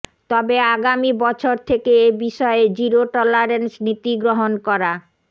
তবে আগামী বছর থেকে এ বিষয়ে জিরো টলারেন্স নীতি গ্রহণ করা